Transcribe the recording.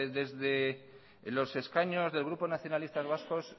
desde los escaños del grupo nacionalistas vascos